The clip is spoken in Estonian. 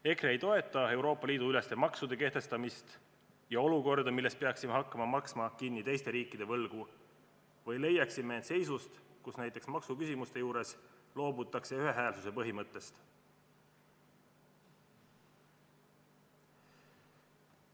EKRE ei toeta Euroopa Liidu üleste maksude kehtestamist ega olukorda, milles peaksime hakkama maksma kinni teiste riikide võlgu või leiaksime end seisus, kus näiteks maksuküsimuste puhul loobutakse ühehäälsuse põhimõttest.